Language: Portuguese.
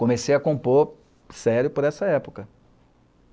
Comecei a compor sério por essa época.